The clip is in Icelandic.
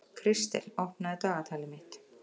Kristel, opnaðu dagatalið mitt.